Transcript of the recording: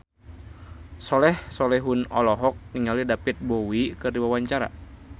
Soleh Solihun olohok ningali David Bowie keur diwawancara